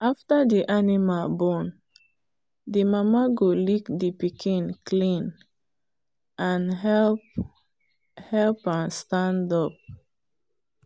after the animal born the mama go lick the pikin clean and help help am stand up.